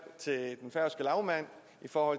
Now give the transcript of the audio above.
for